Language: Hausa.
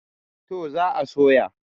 to za a soya